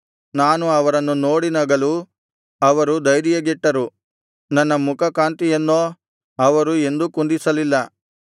ನಾನು ಅವರನ್ನು ನೋಡಿ ನಗಲು ಅವರು ಧೈರ್ಯಗೆಟ್ಟರು ನನ್ನ ಮುಖಕಾಂತಿಯನ್ನೋ ಅವರು ಎಂದೂ ಕುಂದಿಸಲಿಲ್ಲ